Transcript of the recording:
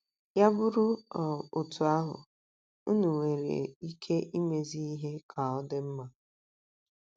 Ya bụrụ um otú ahụ, unu nwere ike imezi ihe ka ọ dị mma.